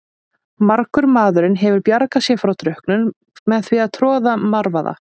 Margur maðurinn hefur bjargað sér frá drukknun með því að troða marvaða.